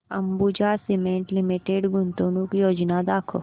Ambuja cement limited गुंतवणूक योजना दाखव